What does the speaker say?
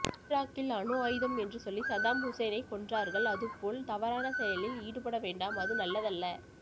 ஈராக்கில் அணுஆயுதம் என்று சொல்லி சதாம்ஹுசேனை கொன்றார்கள் அதுபோல் தவறான செயலில் ஈடுபடவேண்டாம் அது நல்லதல்ல